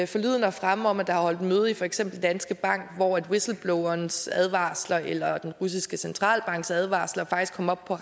forlydender fremme om at der har været holdt møde i for eksempel danske bank hvor whistleblowerens advarsler eller den russiske centralbanks advarsler faktisk kom op på